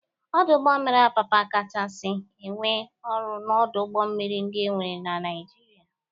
Ọdụ ụgbọ mmiri Apapa kachasi enwe ọrụ n'ọdụ ụgbọ mmiri ndị enwere na Naịjịrịa.